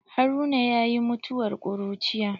Haruna yayi mutuwar ƙuruciya.